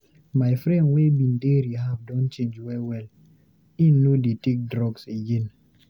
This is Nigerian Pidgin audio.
My friend wey bin dey rehab don change well well, im no dey take drugs again.